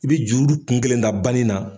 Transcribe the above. I bɛ juru kun kelen da bani na.